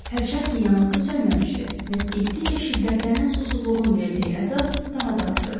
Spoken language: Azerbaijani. Hərçənd ki, yanğısı sönməmişdi və getdikcə şiddətlənən susuzluğun verdiyi əzab daha da artırdı.